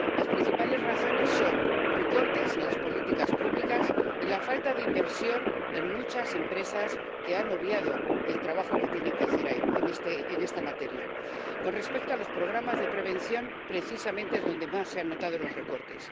Las principales razones son los recortes en las políticas públicas y la falta de inversión en muchas empresas, que han obviado el trabajo que tienen que hacer en esta materia. Con respecto a los programas de prevención, es precisamente ahí donde más se han notado los recortes.